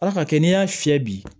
Ala ka kɛ n'i y'a fiyɛ bi